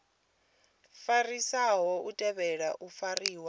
fariwaho u tea u fariwa